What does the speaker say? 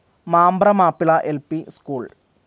Mambra Mappila L P school